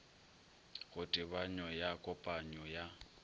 go tebanyo ya kopanyo ya